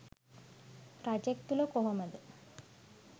රජෙක් තුළ කොහොමද